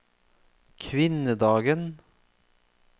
kvinnedagen